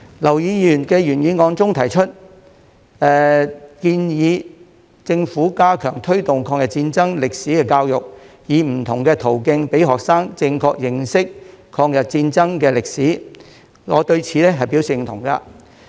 劉議員的原議案中提出，建議政府加強推動抗日戰爭歷史的教育，以不同途徑讓學生正確認識抗日戰爭的歷史，我對此表示認同。